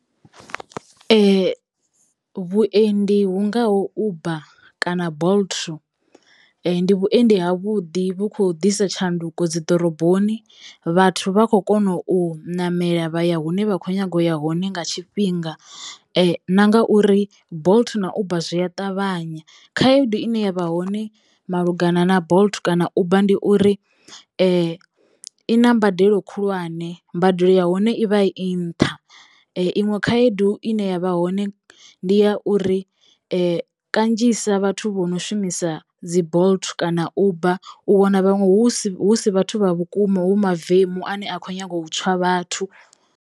Vhuendi hu ngaho Uber kana Bolt ndi vhuendi ha vhuḓi vhu kho ḓisa tshanduko dzi ḓoroboni, vhathu vha kho kono u namela vha ya hune vha kho nyago ya hone nga tshifhinga na ngauri Bolt na Uber zwi a ṱavhanya. Khaedu ine yavha hone malugana na Bolt kana Uber ndi uri i na mbadelo khulwane mbadelo ya hone i vha i nṱha iṅwe , khaedu ine yavha hone ndi ya uri kanzhisa vhathu vho no shumisa dzi Bolt kana Uber u wana vhaṅwe hu si hu si vhathu vha vhukuma hu mavemu ane a kho nyaga u tswa vhathu.